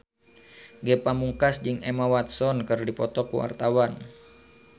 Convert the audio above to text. Ge Pamungkas jeung Emma Watson keur dipoto ku wartawan